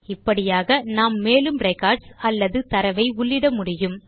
இப்படியாக நாம் மேலும் ரெக்கார்ட்ஸ் அல்லது தரவை உள்ளிட முடியும்